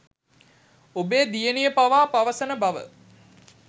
ඔබේ දියණිය පවා පවසන බව